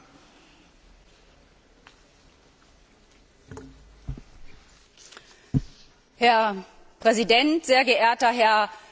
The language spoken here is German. Herr Präsident! Sehr geehrter Herr Kommissar Lewandowski, liebe Ratsvertreter, liebe Kolleginnen und Kollegen!